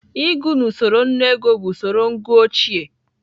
Ịgụ n'usoro nnu ego bụ usoro ngụ ochie.